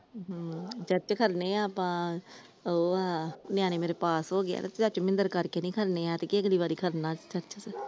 . ਉਹ ਨਿਆਣੇ ਮੇਰੇ ਪਾਸ ਹੋਗੇਆ ਚਾਚੂ ਮੋਹਿੰਦਰ ਕਰਕੇ ਨੀ ਖੜਨੇ ਐਤਕੀ ਅਗਲੀ ਵਾਰੀ ਖੜ੍ਹਨਾ ਚਾਚੂ ਕੇ ।